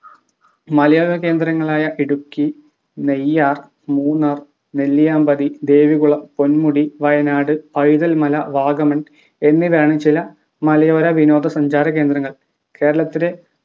മലയോര കേന്ദ്രങ്ങളായ ഇടുക്കി നെയ്യാർ മൂന്നാർ നെല്ലിയാമ്പതി ദേവികുളം പൊൻ‌മുടി വയനാട് പൈതൽ മല vagamon എന്നിവയാണ് ചില മലയോര വിനോദ സഞ്ചാര കേന്ദ്രങ്ങൾ കേരളത്തിലെ